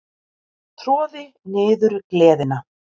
Troði niður gleðina.